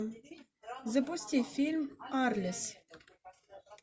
запусти фильм арлес